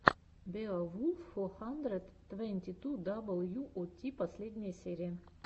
беовулф фо хандрэд твэнти ту дабл ю о ти последняя серия